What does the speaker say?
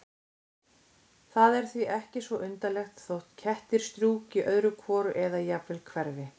Það er því ekki svo undarlegt þótt kettir strjúki öðru hvoru eða jafnvel hverfi.